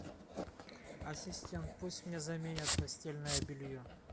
ассистент пусть мне заменят постельное белье